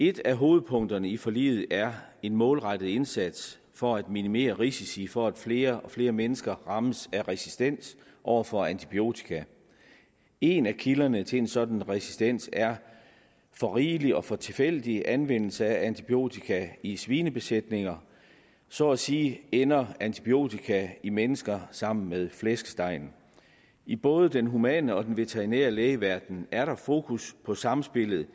et af hovedpunkterne i forliget er en målrettet indsats for at minimere risici for at flere og flere mennesker rammes af resistens over for antibiotika en af kilderne til en sådan resistens er for rigelig og for tilfældig anvendelse af antibiotika i svinebesætninger så at sige ender antibiotika i mennesker sammen med flæskestegen i både den humane og den veterinære lægeverden er der fokus på samspillet